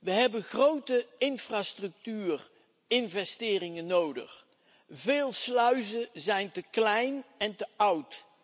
We hebben grote infrastructuur investeringen nodig. Veel sluizen zijn te klein en te oud.